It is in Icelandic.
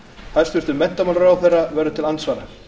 hæstvirtur menntamálaráðherra þorgerður katrín gunnarsdóttir verður til andsvara